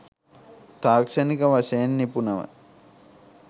තාක්ෂණික වශයෙන් නිපුන ව